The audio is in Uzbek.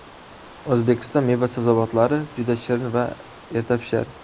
O‘zbekiston meva-sabzavotlari juda shirin va ertapishar.